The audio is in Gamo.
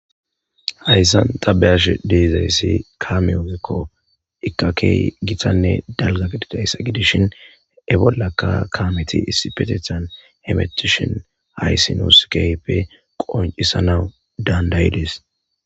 hayssan ta be'ash de'ezayssi kame ogekko ika kehi gitanne dalga didayssa gidishin e bollakka kameti issipetethan hemetishin haysi nus keyippe qoncisanawu dandayides